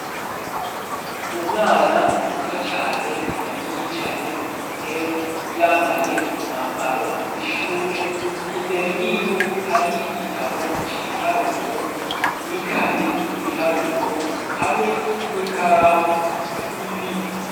Umwana muto cane yari yicaye ku ntebe yambaye umwambaro w'ishure, imbere yiwe hari igitabo c'ibiharuro n'ikaye y'ibiharuro hamwe n'ikaramu zibiri.